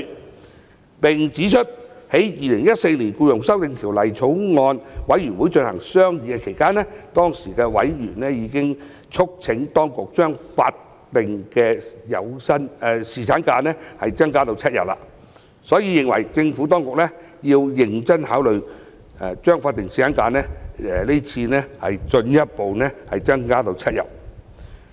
他們並指出，在《2014年僱傭條例草案》委員會進行商議期間，當時的委員已經促請當局將法定侍產假日數增至7天，所以認為政府當局要認真考慮將是次法定侍產假日數進一步增加至7天。